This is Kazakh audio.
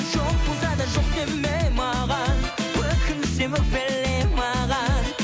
жоқ болса да жоқ деме маған өкіндірсем өкпеле маған